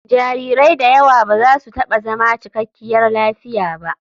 Jarirai da yawa ba za su taɓa zama cikakkiyar lafiya ba.